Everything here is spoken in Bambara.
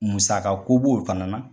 Musaka ko b'o o fana na.